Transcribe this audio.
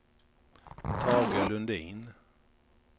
Tage Lundin